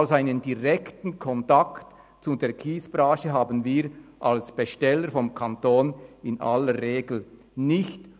Also, einen direkten Kontakt zur Kiesbranche haben wir als Besteller vonseiten Kanton in aller Regel nicht.